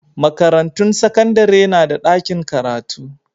Makarantun sakandare na da ɗakin karatu.